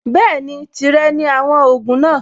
Bẹ́ẹ̀ni, tìrẹ ni àwọn ògùn náà.